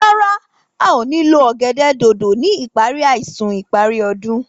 Rárá, a o ní lo ọ̀gẹ̀dẹ̀ dòdò ni ipari àìsùn ìparí ọdún.